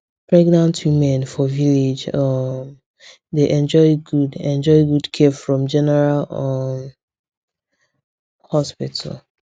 pregnant women for village um dey enjoy good enjoy good care from general um hospital